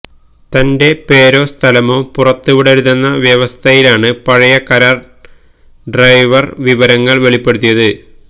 തന്റെ പേരോ സ്ഥലമോ പുറത്തുവിടരുതെന്ന വ്യവസ്ഥയിലാണ് പഴയ കരാർ ഡ്രൈവർ വിവരങ്ങൾ വെളിപ്പെടുത്തിയത്